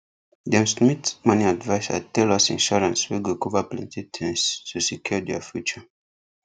them smith money adviser tell us insurance wey go cover plenty tins to secure their future